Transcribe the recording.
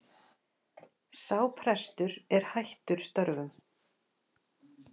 Sá prestur er hættur störfum